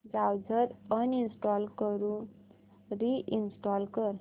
browser uninstall करून reinstall कर